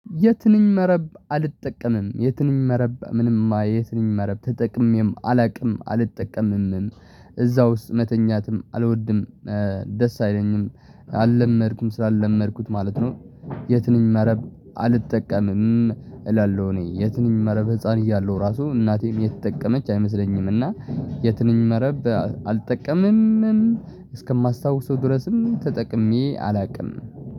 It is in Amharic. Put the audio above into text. የትንም መረብ አልጠቀምም፤ የትንም መረብ ምንም ማየትም መረብ ተጠቅሜም አላውቅም አልጠቀምምም እዛ ውስጥ መተኛትም አልወድም፣ ደስ አይለኝም አልለመድኩም ስላልለመድኩት ማለት ነው፤ የትንም መረብ አልጠቀምም እላለሁ። እኔ የትንም መረብ ህፃን እያለሁ እራሱ እናቴም የተጠቀመች አይመስለኝም እና የትንኝ መረብ አልጠቀምም። እስከማስታውሰው ድረስም ተጠቅሜ አላውቅም።